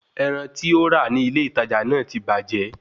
Ẹran tí ó rà ní ilé ìtajà náà ti bàjẹ́